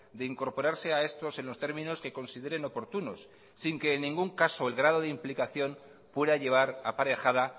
de incorporarse a estos en los términos que consideren oportunos sin que en ningún caso el grado de implicación pueda llevar aparejada